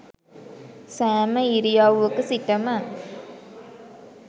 සෑම ඉරියව්වක සිටම